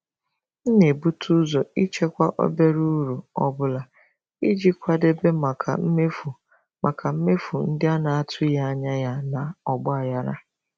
M na-ebute ụzọ ịchekwa obere uru ọ bụla iji kwadebe maka mmefu maka mmefu ndị a na-atụghị anya ya na ọgba aghara.